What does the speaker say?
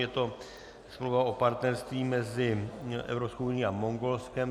Je to smlouva o partnerství mezi Evropskou unií a Mongolskem.